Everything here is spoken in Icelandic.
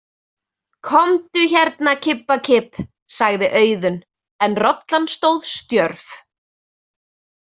Komdu hérna, kibbakibb, sagði Auðunn en rollan stóð stjörf.